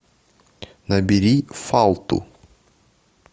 набери фалту